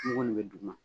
N kɔni bɛ duguma